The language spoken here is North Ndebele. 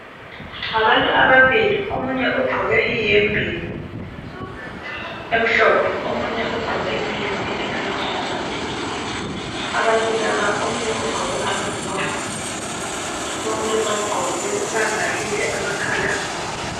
Ngabantu ababili omunye ugqoke ihembe emhlophe omunye elamabalabala. Abantu laba omunye ugqoke ama gloves bonke bavalile amakhala.